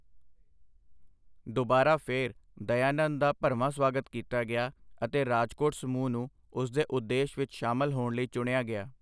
ਦੁਬਾਰਾ ਫਿਰ, ਦਯਾਨੰਦ ਦਾ ਭਰਵਾਂ ਸਵਾਗਤ ਕੀਤਾ ਗਿਆ ਅਤੇ ਰਾਜਕੋਟ ਸਮੂਹ ਨੂੰ ਉਸ ਦੇ ਉਦੇਸ਼ ਵਿੱਚ ਸ਼ਾਮਲ ਹੋਣ ਲਈ ਚੁਣਿਆ ਗਿਆ।